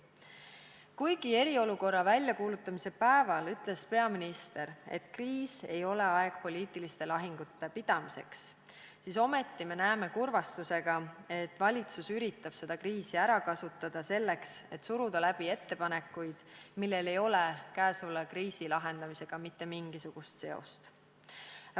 Kuigi eriolukorra väljakuulutamise päeval ütles peaminister, et kriis ei ole aeg poliitiliste lahingute pidamiseks, siis ometi me näeme kurvastusega, et valitsus üritab seda kriisi ära kasutada selleks, et suruda läbi ettepanekuid, millel ei ole käesoleva kriisi lahendamisega mitte mingisugust seost.